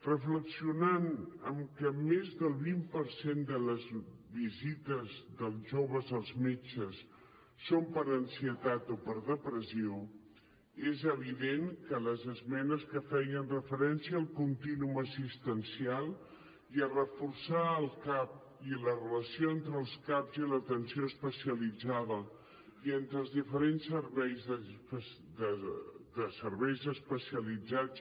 reflexionant en que més del vint per cent de les visites dels joves als metges són per ansietat o per depressió és evident que les esmenes que feien referència al contínuum assistencial i a reforçar el cap i la relació entre els caps i l’atenció especialitzada i entre els diferents serveis especialitzats